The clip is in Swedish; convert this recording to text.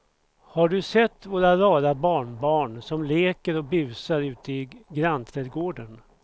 Har du sett våra rara barnbarn som leker och busar ute i grannträdgården!